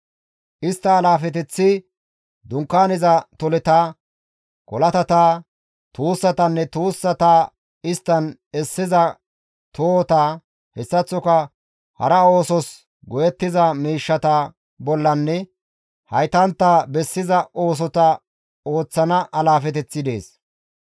Istta alaafeteththi Dunkaaneza toleta, kolatata, tuussatanne tuussata isttan essiza tohota, hessaththoka hara oosos go7ettiza miishshata bollanne heytanttas bessiza oosota ooththana alaafeteththi dees.